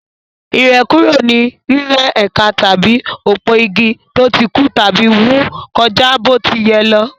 Ìrẹ́kúrò ni rírẹ́ ẹ̀ka tàbí òpó-igi tó ti kú tàbí wù kọjá bó ti yẹ lọ.